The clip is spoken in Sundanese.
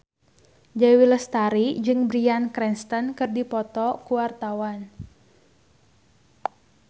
Dewi Lestari jeung Bryan Cranston keur dipoto ku wartawan